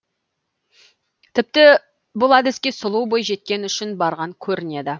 тіпті бұл әдіске сұлу бойжеткен үшін барған көрінеді